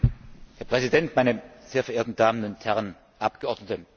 Herr Präsident, meine sehr verehrten Damen und Herren Abgeordneten!